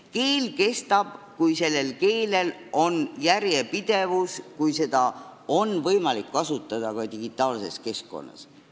Keel kestab, kui sellel on järjepidevus ja kui seda on võimalik kasutada ka digitaalses keskkonnas.